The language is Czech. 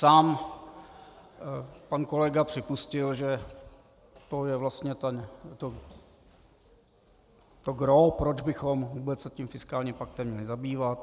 Sám pan kolega připustil, že to je vlastně to gros, proč bychom vůbec se tím fiskálním paktem měli zabývat.